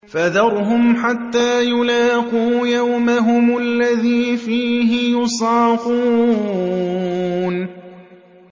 فَذَرْهُمْ حَتَّىٰ يُلَاقُوا يَوْمَهُمُ الَّذِي فِيهِ يُصْعَقُونَ